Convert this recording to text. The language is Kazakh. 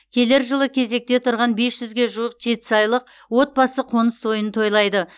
келер жылы кезекте тұрған бес жүзге жуық жетісайлық отбасы қоныс тойын тойлайды